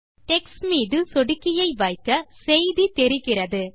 text மீது சொடுக்கியை வைக்க செய்தி தெரிகிறது